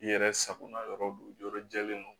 I yɛrɛ sagona yɔrɔ do yɔrɔ jɛlen don